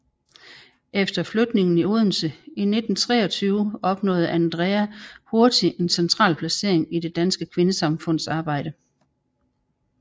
Efter flytningen til Odense i 1923 opnåede Andrea hurtigt en central placering i Dansk Kvindesamfunds arbejde